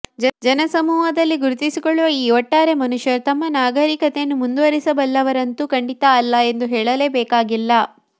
ಜನಸಮೂಹದಲ್ಲಿ ಗುರುತಿಸಿಕೊಳ್ಳುವ ಈ ಒಟ್ಟಾರೆ ಮನುಷ್ಯರು ನಮ್ಮ ನಾಗರಿಕತೆಯನ್ನು ಮುಂದುವರಿಸಬಲ್ಲವರಂತೂ ಖಂಡಿತ ಅಲ್ಲ ಎಂದು ಹೇಳಲೇಬೇಕಾಗಿಲ್ಲ